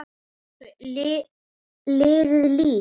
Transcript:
Er eins og liðið lík.